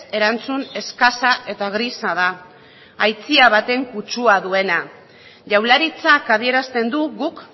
erantzun eskasa eta grisa da baten kutsua duena jaurlaritzak adierazten du guk